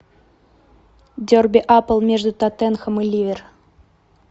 дерби апл между тоттенхэм и ливер